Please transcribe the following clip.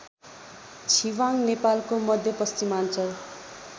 छिवाङ नेपालको मध्यपश्चिमाञ्चल